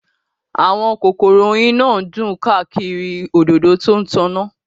Àwọn kòkòrò oyin náà dún káàkiri òdòdó tó ń tàn náà